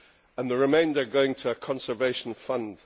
and the remainder going to a conservation fund.